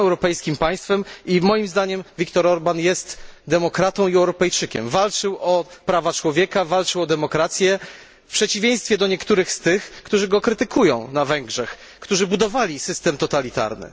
I są europejskim państwem i, moim zdaniem, Viktor Orban jest demokratą i Europejczykiem walczył o prawa człowieka, walczył o demokrację w przeciwieństwie do niektórych z tych, którzy go krytykują na Węgrzech, którzy budowali system totalitarny.